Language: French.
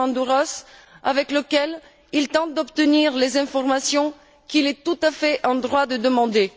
Diamandouros avec lequel il tente d'obtenir les informations qu'il est tout à fait en droit de demander.